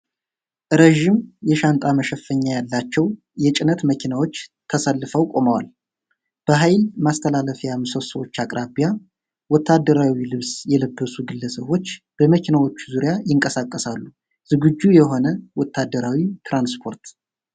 ረዥም፣ የሻንጣ መሸፈኛ ያላቸው የጭነት መኪናዎች ተሰልፈው ቆመዋል። በኃይል ማስተላለፊያ ምሰሶዎች አቅራቢያ ወታደራዊ ልብስ የለበሱ ግለሰቦች በመኪኖቹ ዙሪያ ይንቀሳቀሳሉ። ዝግጁ የሆነ ወታደራዊ ትራንስፖርት።